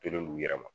Tolen no u yɛrɛ ma